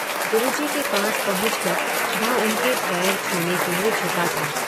गुरु जी के पास पहुँच कर वह उनके पैर छूने के लिए झुका था